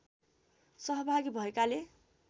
सहभागी भएकाले